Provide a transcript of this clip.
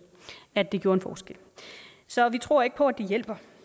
at det gjorde en forskel så vi tror ikke på at det hjælper